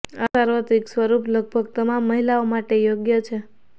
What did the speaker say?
આ સાર્વત્રિક સ્વરૂપ લગભગ તમામ મહિલાઓ માટે યોગ્ય છે